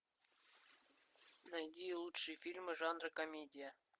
найди лучшие фильмы жанра комедия